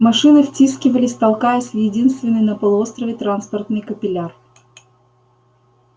машины втискивались толкаясь в единственный на полуострове транспортный капилляр